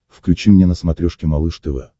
включи мне на смотрешке малыш тв